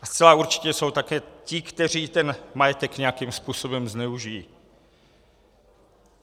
A zcela určitě jsou také ti, kteří ten majetek nějakým způsobem zneužijí.